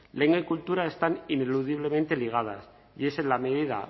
lengua y cultura están ineludiblemente ligadas y es en la medida